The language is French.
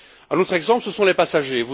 Un autre exemple, ce sont les passagers.